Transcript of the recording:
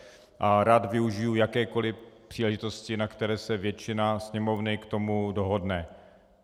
A rád využiji jakékoli příležitosti, na které se většina Sněmovny k tomu dohodne.